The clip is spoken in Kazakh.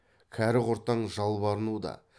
кәрі құртаң жалбарынуда